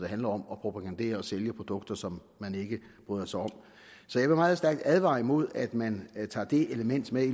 handler om at propagandere for og sælge produkter som man ikke bryder sig om så jeg vil meget stærkt advare imod at man tager det element med i